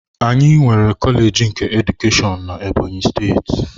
Anyị nwere kọleji nke Edukeshọn na Ebonyi steeti.